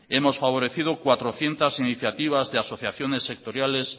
hemos favorecido cuatrocientos iniciativas de asociaciones sectoriales